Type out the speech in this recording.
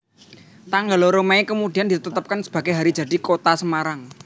Tanggal loro Mei kemudian ditetapkan sebagai hari jadi kota Semarang